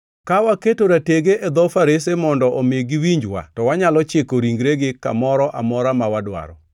Ka waketo ratege e dho farese mondo omi giwinjwa, to wanyalo chiko ringregi kamoro amora ma wadwaro.